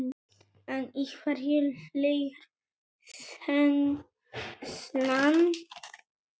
En í hverju liggur þenslan?